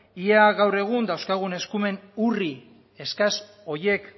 ea gaur egun dauzkagun eskumen urri eskas horiek